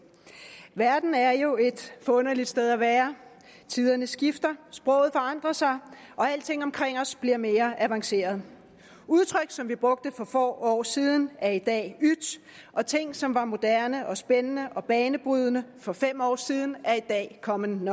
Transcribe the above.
verden er jo et forunderligt sted at være tiderne skifter sproget forandrer sig og alting omkring os bliver mere avanceret udtryk som vi brugte for få år siden er i dag yt og ting som var moderne og spændende og banebrydende for fem år siden er i dag common